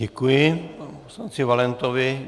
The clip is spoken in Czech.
Děkuji panu poslanci Valentovi.